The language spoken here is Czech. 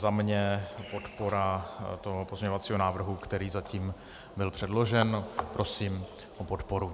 Za mě podpora toho pozměňovacího návrhu, který zatím byl předložen, prosím o podporu.